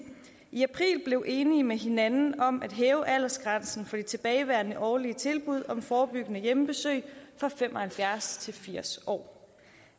i april blev enige med hinanden om at hæve aldersgrænsen for de tilbagevendende årlige tilbud om forebyggende hjemmebesøg fra fem og halvfjerds til firs år